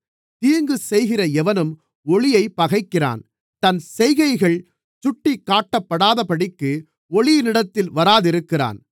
தீங்கு செய்கிற எவனும் ஒளியைப் பகைக்கிறான் தன் செய்கைகள் சுட்டி காட்டப்படாதபடிக்கு ஒளியினிடத்தில் வராதிருக்கிறான்